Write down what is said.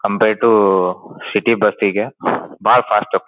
compare to city bus ಗೆ ಬಹಳ fast up --